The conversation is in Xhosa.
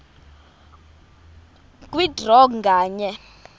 kwe draw nganye